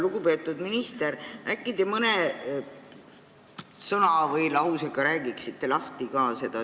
Lugupeetud minister, äkki te mõne sõna või lausega räägite seda lahti ka?